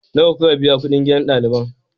Nawa kuka biya kuɗin gidan ɗaliban?